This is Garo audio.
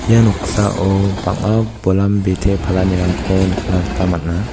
ia noksao bang·a bolam bite palanirangko nikna gita man·a.